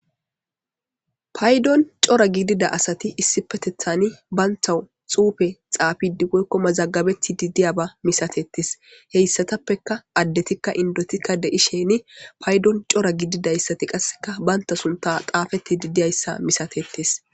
Paydon cora gidida asati issi petethani baynthawu xuufe xaabidi woykkoma zaggabeti didiyaba misatettis heyssatappeka addetikka indotikka de'i sheeni paydon cora gididayssati qasseka baynta sunta xaafeti didiyayssa misatettis